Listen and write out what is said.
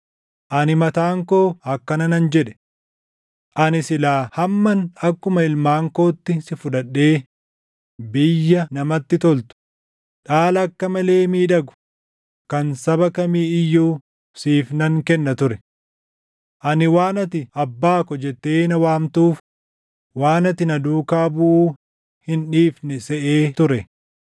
“Ani mataan koo akkana nan jedhe; “ ‘Ani silaa hamman akkuma ilmaan kootti si fudhadhee biyya namatti toltu, dhaala akka malee miidhagu kan saba kamii iyyuu // siif nan kenna ture.’ Ani waan ati, ‘Abbaa ko’ jettee na waamtuuf, waan ati na duukaa buʼuu hin dhiifne seʼee ture.